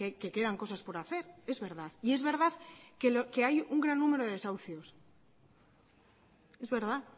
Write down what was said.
que quedan cosas por hacer es verdad y es verdad que hay un gran número de desahucios es verdad